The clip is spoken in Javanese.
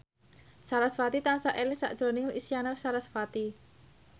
sarasvati tansah eling sakjroning Isyana Sarasvati